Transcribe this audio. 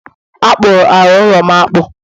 A kpụrụ ala ụlọ'm akpụ